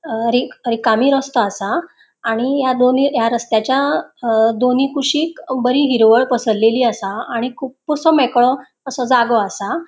अ रिक रिकमी रोस्तों आसा आणि या दोनी या रस्त्याच्या दोन्ही कुशिक बरी हिरवळ पसरलेली असा आणि खूप्प सॉ मेकळो असो जागो आसा.